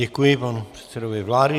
Děkuji panu předsedovi vlády.